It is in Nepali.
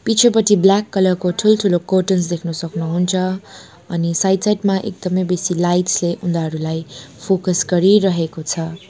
पिछेपटि ब्ल्याक कलर को ठुलठुलो कर्टैंस् देख्न सक्नुहुन्छ अनि साइड साइड मा एकदमै बेसी लाइट्स ले उनीहरूलाई फोकस गरिरहेको छ।